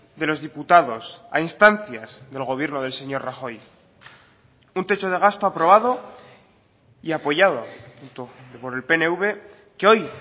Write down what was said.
de los diputados a instancias del gobierno del señor rajoy un techo de gasto aprobado y apoyado por el pnv que hoy